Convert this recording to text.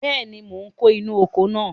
Bẹ́ẹ̀ni, mò ń kó inú oko náà.